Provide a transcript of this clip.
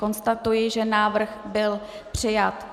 Konstatuji, že návrh byl přijat.